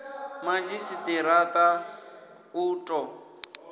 madzhisi ṱira ṱa u ḓo